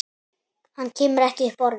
Hann kemur ekki upp orði.